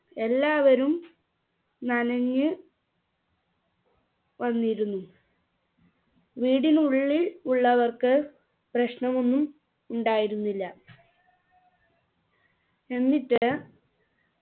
എല്ലാവരും നനഞ്ഞ് വന്നിരുന്നു വീടിനുള്ളിൽ ഉള്ളവർക്ക് പ്രശ്നമൊന്നും ഉണ്ടായിരുന്നില്ല എന്നിട്ട്